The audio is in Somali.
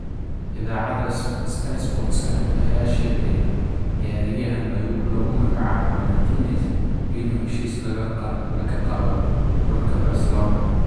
Iidaacada sky sportka aya sheegtey ciyariyahan laku magacabo Martinez inuu heshis lakaqalo xulka Barshilona.